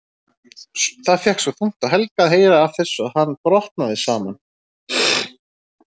Það fékk svo þungt á Helga að heyra af þessu að hann brotnaði saman.